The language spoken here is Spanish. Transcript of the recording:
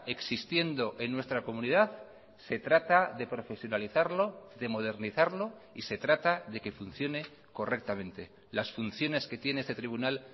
existiendo en nuestra comunidad se trata de profesionalizarlo de modernizarlo y se trata de que funcione correctamente las funciones que tiene este tribunal